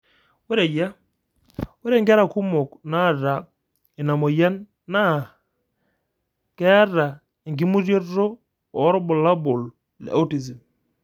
Ore eyia, ore Inkera kumok naata ina moyian naa keee enkimutioto oorbulabol le autism.